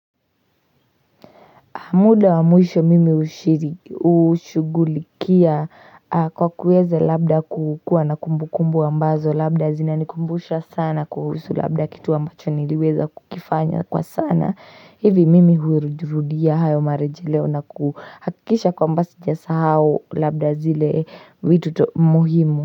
Muda wa mwisho mimi hushugulikia kwa kueza labda kukuwa na kumbu kumbu ambazo. Labda zinanikumbusha sana kuhusu labda kitu ambacho niliweza kukifanya kwa sana. Hivi mimi hurudia hayo marejeleo na kuhakikisha kwamba sijasahau labda zile vitu muhimu.